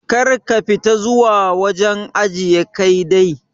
Kar ka fita zuwa wajen ajiye Kai dai.